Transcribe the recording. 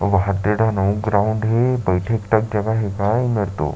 अऊ वाहद दे दाहन अऊ ग्राउन्ड हे बैठेक तक जगह हे गा एमेर तो--